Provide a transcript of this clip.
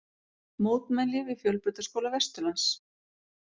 Mótmæli við Fjölbrautaskóla Vesturlands